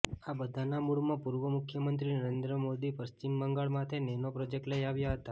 આ બધાના મૂળમાં પૂર્વ મુખ્યમંત્રી નરેન્દ્ર મોદી પશ્ચિમ બંગાળમાંથે નેનો પ્રોજેક્ટ લઇ આવ્યા હતા